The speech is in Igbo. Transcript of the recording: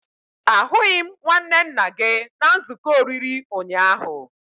Ahụghị m nwanne nna gị na nzuko oriri ụnyaahụ